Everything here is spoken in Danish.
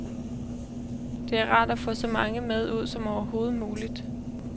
Det er rart at få så mange med ud som overhovedet muligt.